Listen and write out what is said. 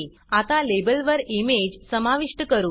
आता लेबलवर इमेज समाविष्ट करू